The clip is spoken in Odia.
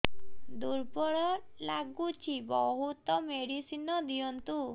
ଦୁର୍ବଳ ଲାଗୁଚି ବହୁତ ମେଡିସିନ ଦିଅନ୍ତୁ